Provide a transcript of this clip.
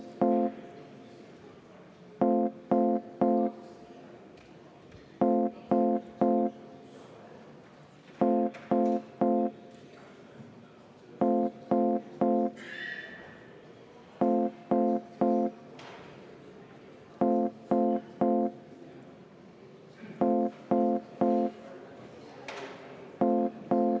Me kaotame maksuküüru, mis jätab väga paljudele inimestele väga palju rohkem raha kätte.